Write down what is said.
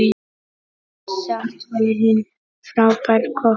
Samt var hún frábær kokkur.